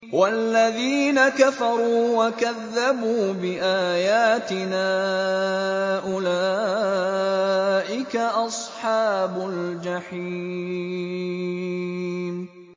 وَالَّذِينَ كَفَرُوا وَكَذَّبُوا بِآيَاتِنَا أُولَٰئِكَ أَصْحَابُ الْجَحِيمِ